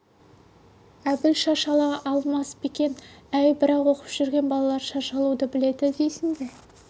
әбіл шаш ала алмас па екен әй бірақ оқып жүрген балалар шаш алуды біледі дейсің бе